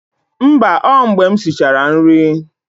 Mba, ọ mgbe m sichara nri